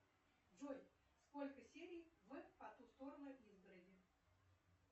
джой сколько серий в по ту сторону изгороди